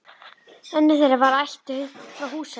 Önnur þeirra var ættuð frá Húsavík.